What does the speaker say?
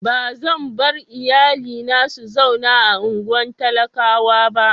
Ba zan bar iyalina su zauna a unguwan talakawa ba.